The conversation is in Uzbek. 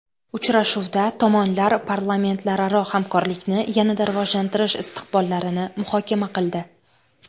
Uchrashuvda tomonlar parlamentlararo hamkorlikni yanada rivojlantirish istiqbollarini muhokama qildi.